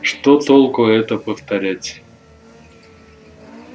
что толку это повторять